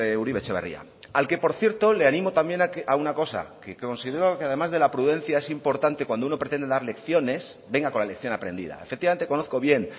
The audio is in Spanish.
uribe etxebarria al que por cierto le animo también a una cosa que considero que además de la prudencia es importante cuando uno pretende dar lecciones venga con la lección aprendida efectivamente conozco bien